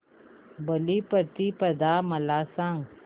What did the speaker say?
बलिप्रतिपदा मला सांग